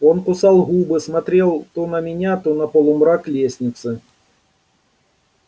он кусал губы смотрел то на меня то на полумрак лестницы